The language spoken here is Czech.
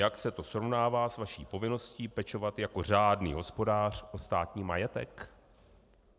Jak se to srovnává s vaší povinností pečovat jako řádný hospodář o státní majetek?